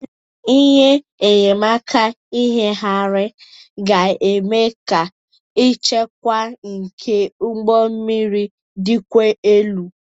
Ihe enyemaka ịnyagharị ga-eme ka nchekwa nke ụgbọ mmiri dịkwuo elu.